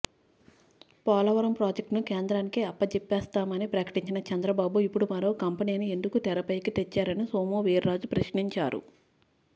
పోలవరం ప్రాజెక్టును కేంద్రానికి అప్పజెప్పేస్తామని ప్రకటించిన చంద్రబాబు ఇప్పుడు మరో కంపెనీని ఎందుకు తెరపైకి తెచ్చారని సోము వీర్రాజు ప్రశ్నించారు